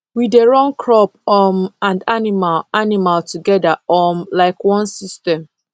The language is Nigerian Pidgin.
we dey run crop um and animal animal together um like one system